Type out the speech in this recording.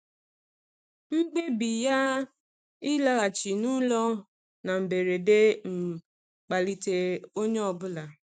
Mkpebi ya ịlaghachi n'ụlọ na mberede um kpalitere onye ọ bụla.